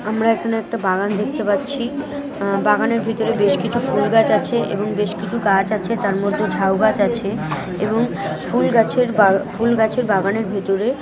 আমরা এখন একটা বাগান দেখতে পাচ্ছি। আ বাগানের ভিতর বেশ কিছু ফুল গাছ আছে এবং বেশ কিছু গাছ আছে তার মধ্যে ঝাউ গাছ আছে এবং ফুল গাছের বা ফুল গাছের বাগানের ভেতরে--